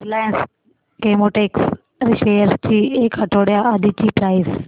Reliance Chemotex shares ची एक आठवड्या आधीची प्राइस